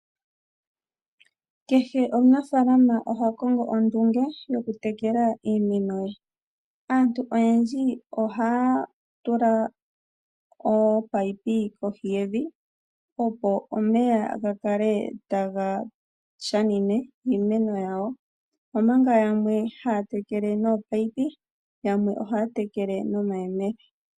Kehe omunafalama oha kongo ondunge yokutekela iimeno ye. Aantu oyendji ohaya tula ominino kohi yevi, opo omeya ga kale taga shashamine iimeno yawo, omanga yamwe haya tekele nominino, yamwe ohaya tekele nomayemele.